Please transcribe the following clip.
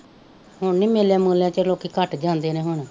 ਹੁਣ ਨਹੀਂ ਮੇਲਿਆਂ ਮੂ਼ਲਿਆ ਚ ਲੋਕੀ ਘੱਟ ਜਾਂਦੇ ਨੇ ਹੁਣ